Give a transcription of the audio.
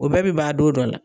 O bɛɛ bi ba don dɔ la.